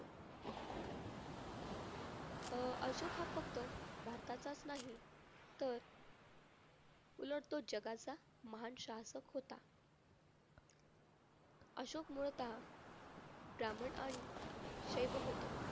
अशोक हा फक्त भारताचाच नाही तर उलट तो जगाचा महान शासक होता. अशोक मूळतः ब्राह्मण आणि शैव होता.